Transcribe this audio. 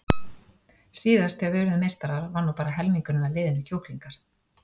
Síðast þegar við urðum meistarar var nú bara helmingurinn af liðinu kjúklingar.